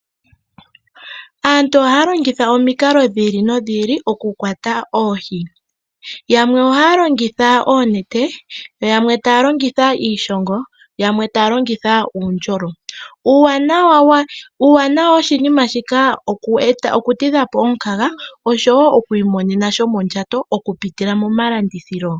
Aantu ohaya longitha omikalo dhi ili nodhi ili okukwata oohi. Yamwe ohaya longitha oonete, yamwe taya longitha iishongo yamwe taya longitha uundjolo. Uuwanawa woshinima shika oku tidha po omukaga nokwiimonena sha shomondjato okupitila moma landithilo.